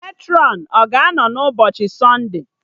Matrọn a ga-anọ n'ụbọchị sọnde?